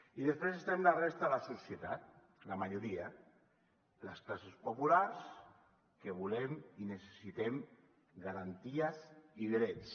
i després estem la resta la societat la majoria les classes populars que volem i necessitem garanties i drets